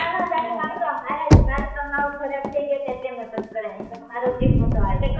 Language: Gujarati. તો તારા વાળ તો હારા છે મારા તો સાવ ખરાબ થઇ ગયા છે એટલે મે નાત કરાયા કેમ કે મારો જીવ નાતો હાલતો